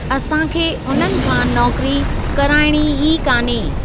असां खे उन्हनि खां नौकिरी कराइणी ई कान्हे।